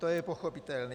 To je pochopitelné.